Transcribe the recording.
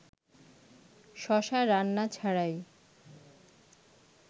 শশা রান্না ছাড়াই